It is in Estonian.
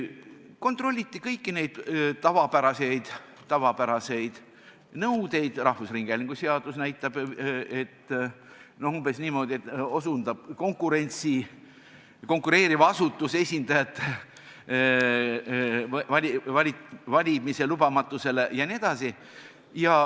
Kontrolliti kõiki tavapäraseid nõudeid, mida rahvusringhäälingu seadus näitab, umbes niimoodi, et ega tegemist ei ole konkureeriva asutuse esindajaga, keda ei ole lubatud valida, jne.